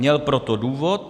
Měl pro to důvod.